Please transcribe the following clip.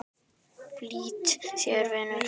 Flýt þér, vinur!